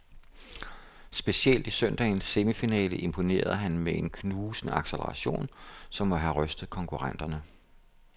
Specielt i søndagens semifinale imponerede han med en knusende accelleration, som må have rystet konkurrenterne.